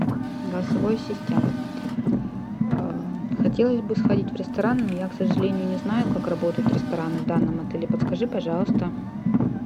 голосовой ассистент хотелось бы сходить в ресторан но я к сожалению не знаю как работают рестораны в данном отеле подскажи пожалуйста